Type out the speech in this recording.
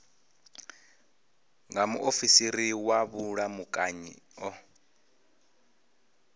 nga muofisiri wa vhulamukanyi o